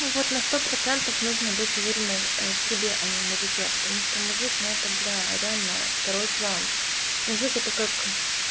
ну вот на сто процентов нужно быть уверенной в себе а не в мужике потому что мужик ну это бля реально второй план мужик это как